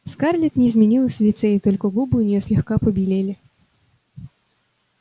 скарлетт не изменилась в лице и только губы у неё слегка побелели